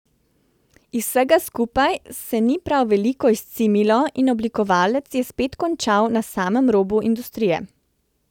Iz vsega skupaj se ni prav veliko izcimilo in oblikovalec je spet končal na samem robu industrije.